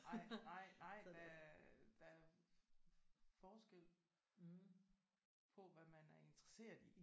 Nej nej nej øh der er forskel på hvad man er interesseret i